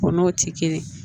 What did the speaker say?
O n'o ti kelen ye